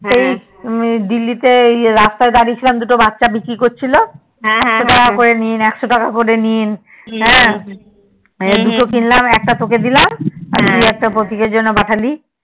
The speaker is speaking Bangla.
সেই দিল্লি তে রাস্তায় দাঁড়িয়ে ছিলাম দুটো বাচ্ছা বিক্রি করছিলো একশো টাকা করে নিন একশো টাকা করে নিন সেই দুটো কিনলাম একটা তোকে দিলাম একটা তুই প্রতীকের জন্য পাঠালি